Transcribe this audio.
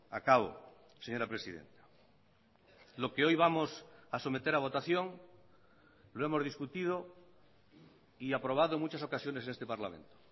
acabo señora presidenta lo que hoy vamos a someter a votación lo hemos discutido y aprobado en muchas ocasiones en este parlamento